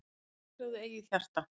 Sigraðu eigið hjarta,